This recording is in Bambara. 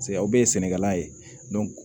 Paseke aw bɛ sɛnɛkɛla ye